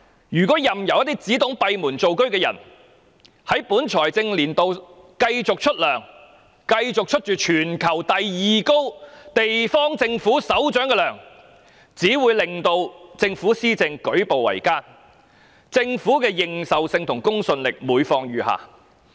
任由一個只懂閉門造車的人在本財政年度繼續支薪，繼續支取全球第二最高的政府首長薪酬，只會令政府施政舉步維艱，政府的認受性和公信力每況愈下。